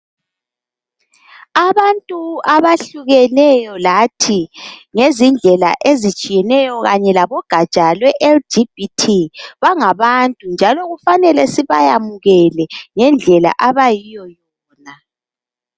Abantu abahlukeneyo lathi ngezindlela ezitshiyeneyo kanye labogatsha lwe LGBT bangabantu njalo kufanele sibayamukele ngendlela abayiyo yona.